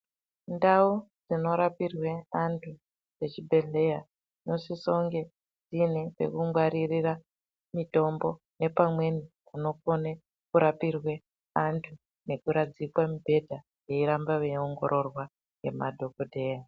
Ndau dzinorapirwe antu dzechibhedhleya, dzinosisounge dziine pekungwaririra mitombo, nepamweni kunokone kurapirwe antu nekuradzikwa mibhedha, veiramba veiongororwa ngemadhokodheya.